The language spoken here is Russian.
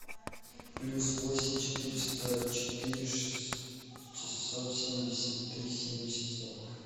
плюс восемь четыреста четыре шестьсот семьдесят три семьдесят сорок